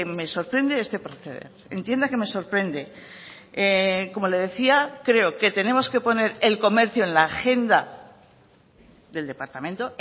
me sorprende este proceder entienda que me sorprende como le decía creo que tenemos que poner el comercio en la agenda del departamento